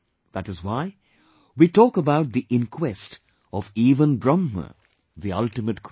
That is why we talk about the inquest of even Brahm, the ultimate creator